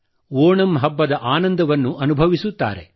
ಓಣಂ ಹಬ್ಬದ ಆನಂದವನ್ನು ಅನುಭವಿಸುತ್ತಾರೆ